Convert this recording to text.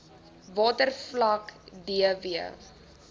watervlak d w